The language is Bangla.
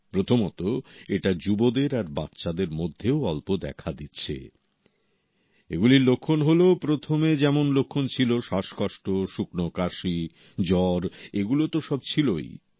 প্রথমত এটা যুবদের আর বাচ্চাদের মধ্যেও অল্প দেখা দিচ্ছে এগুলির লক্ষণ হলো প্রথমে যেমন লক্ষণ ছিল শ্বাসকষ্ট শুকনো কাশি জ্বর এগুলো তো সব ছিলোই